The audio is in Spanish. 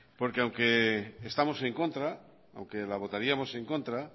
porque aunque estamos en contra aunque la votaríamos en contra